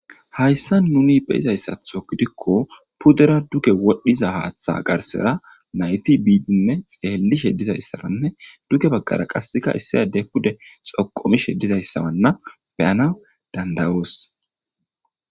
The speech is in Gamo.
Hayssa nuni beyizayssatho gidikko pudera duke wodhdhiza haaththa garsera nayti biidinne xeellishe dizayssananne duke baggara qasseka issiyade pude xoqomishe dizayssawanna beyana dandawoos